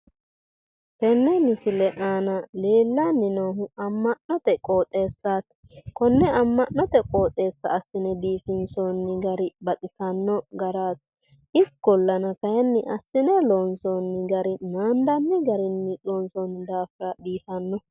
tenne misile aana leellanni noohu amma'note qoxeessaati konne amma'note qooxeessa asine biifinsoonni gari baxisanno garaati. ikkolana kayiinni asine loonsoonnni gari naandanni garinni loonsoonni daafira biifanno.